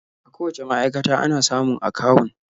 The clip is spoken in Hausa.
A kowacce ma'aikata ana samun akawun.